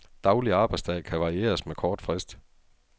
Daglig arbejdsdag kan varieres med kort frist.